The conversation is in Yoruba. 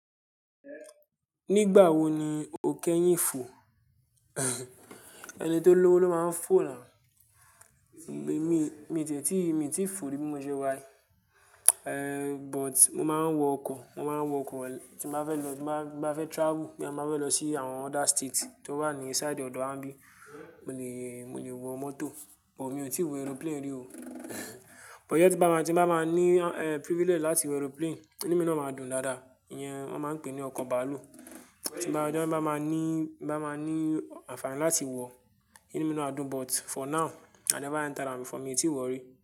Nígbà wo ni o kẹ́yìn fò? Ẹni tó lówó ló máa ń fò náà. Gbé, mi, mi ò tiẹ̀tí, mi ò tí fò rí múṣẹ́ wá yí. Ehn, but mo máa ń wọ ọkọ̀, mo máa ń wọ ọkọ̀ tí n báa fẹ́ lọ, tí máa fẹ́ travel bóyá mo bá fẹ́ lọ sí àwọn other state tó wà ní side ọ̀dọ̀ wa níbí. Mo lè, mo lè wọ mọ́tò, but mi ò tí ì wo aeroplane rí o. But yẹ tí n bá máa, tí n bá máa ní eh privilege láti wo aeroplane, inú mi náà máa dùn dáadáa. Iyẹn wọ́n máa ń pè ní ọkọ̀ bàálù. Tí bá, tí bá máa ní, bá máa ní àǹfààní láti wọ, inú mi ná à dùn, but for now i never enter am before, mi ò tí ì wọ̀ rí.